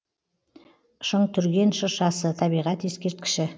шыңтүрген шыршасы табиғат ескерткіші